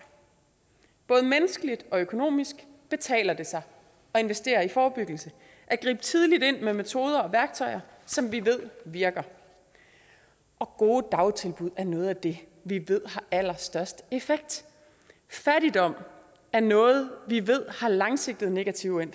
både menneskeligt og økonomisk betaler det sig at investere i forebyggelse at gribe tidligt ind med metoder og værktøjer som vi ved virker og gode dagtilbud er noget af det vi ved har allerstørst effekt fattigdom er noget vi ved har langsigtede negative